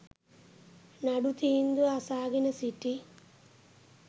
නඩු තීන්දුව අසාගෙන සිටි